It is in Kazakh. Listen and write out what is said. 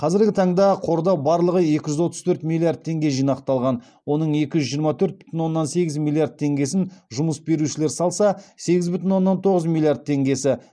қазіргі таңда қорда барлығы екі жүз отыз төрт миллиард теңге жинақталған оның екі жүз жиырма төрт бүтін оннан сегіз миллиард теңгесін жұмыс берушілер салса сегіз бүтін оннан тоғыз миллиард теңгесі